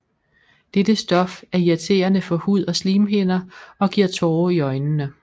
Dette stof er irriterende for hud og slimhinder og giver tårer i øjnene